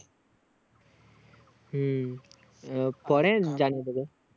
হুম আহ পরে জানিয়ে দেব